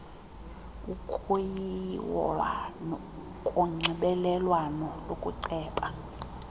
ukuyilwa konxibelelwano lokuceba